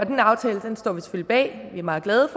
meget meget